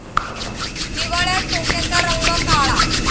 हिवाळ्यात डोक्याचा रंग काळा.